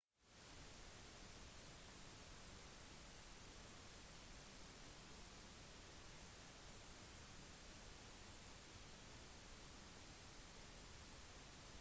dersom det er første gang du reiser til et u-land eller til en ny del av verden vær forberedt på et potensielt kultursjokk